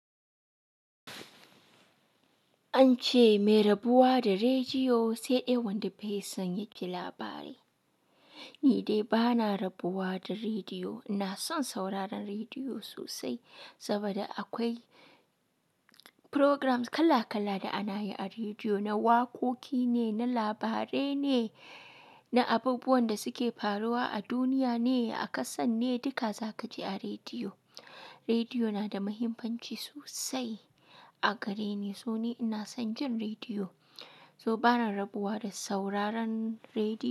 An ce mai rabuwa da rediyo sai dai wanda bai son yaji labari. Ni dai bana rabuwa da rediyo. Ina son sauraron rediyo sosai saboda akwai programs kala kala da ana yi a rediyo, na waƙoƙi ne, na labarai ne, na abubuwan da suke faruwa a duniya ne, a ƙasar ne, duka zaka ji a rediyo. Rediyo na da mahimmanci sosai a gare ni, so ni ina son jin rediyo. To bana rabuwa da sauraron rediyo.